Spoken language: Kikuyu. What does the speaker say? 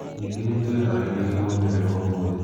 Ningĩ ni twĩ haarĩirie moimĩrĩro omothe".